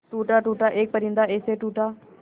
टूटा टूटा एक परिंदा ऐसे टूटा